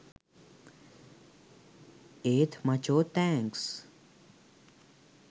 ඒත් මචෝ තෑන්ක්ස්